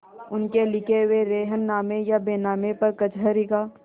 उनके लिखे हुए रेहननामे या बैनामे पर कचहरी का